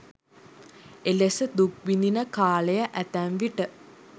එලෙස දුක් විඳින කාලය ඇතැම්විට